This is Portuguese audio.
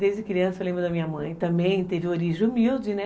Desde criança eu lembro da minha mãe, também teve origem humilde, né?